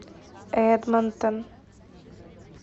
эдмонтон